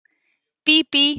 Bíbí